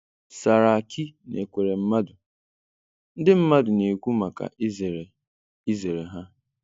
Saraki na Ekweremadu: Ndị mmadụ na-ekwu maka izere izere ha.